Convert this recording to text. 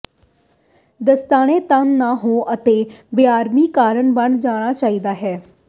ਦਸਤਾਨੇ ਤੰਗ ਨਾ ਹੋ ਅਤੇ ਬੇਆਰਾਮੀ ਕਾਰਨ ਬਣ ਜਾਣਾ ਚਾਹੀਦਾ ਹੈ